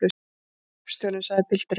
Iss, hreppstjórinn, sagði pilturinn.